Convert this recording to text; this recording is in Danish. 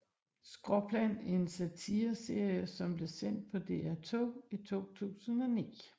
Skråplan er en satireserie som blev sendt på DR2 i 2009